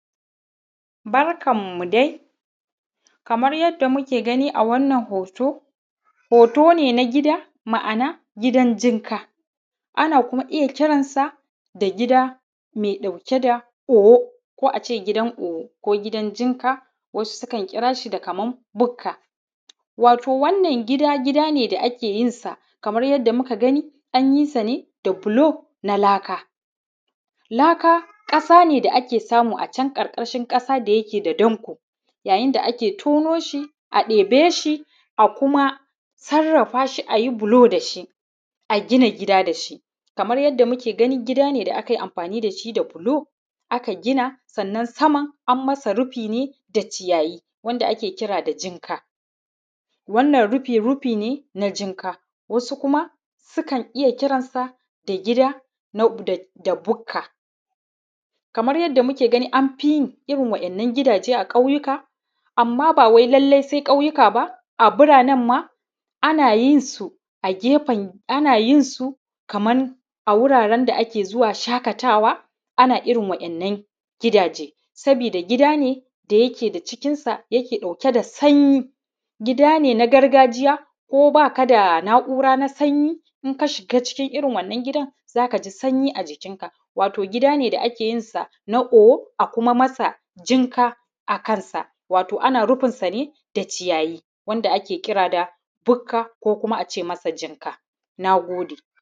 Barkanmu dai, kamar yadda muke gani a wannan hoto, hoto ne na gida, ma’ana gidan jinka, ana kuma iya kiran sa gida mai ɗauke da owo ko ace gidan owo ko gidan jinka, wasu sukan kira shi da kaman bukka. Wato wannan gidane da akeyin sa kamar yadda muka gani anyi sa ne da block na laka, laka ƙasa ne da ake samu a can ƙarƙashin ƙasa da yake da danƙo, yayin da ake tono shi, a ɗebe shi a kuma sarrafa shi ayi block da shi, a gina gida dashi. Kamar yadda muke gani, gida ne da aka yi amfani da shi da block aka gina, sannan saman an masa rufi ne da ciyayi, wanda ake kira da jinka, wannan rufi rufi ne na jinka. Wasu kuma sukan iya kiran sa da gida na da bukka, kamar yadda muke gani an fi yin irin waɗannan gidaje a ƙauyuka, amma bawai sai lallai ƙauyuka ba a biranen ma ana yin su a gefen, ana yin su kaman a wuraren da ake zuwa shaƙatawa, ana irin waɗannan gidaje, sabida gida ne da yake da cikin sa yake ɗauke da sanyi, gida ne na gargajiya ko ba kada na’ura na sanyi, in ka shiga cikin irin waɗannan gidan zaka ji sanyi a jikin ka, wato gidane da ake yin san a owo a kuma masa jinka a kansa, wato ana rufin sa ne da ciyayi, wanda ake kira da bukka ko kuma ace masa jinka, nagode.